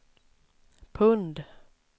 pund